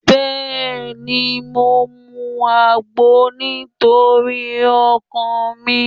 Bẹ́ẹ̀ni, mo ń mu àgbo nítorí ọkàn mi.